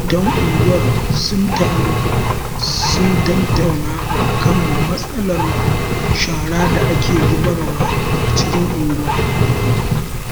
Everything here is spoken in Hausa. Magidantan unguwar sun taru sun tattauna a kan matsalar shara da ake zubar wa a cikin unguwa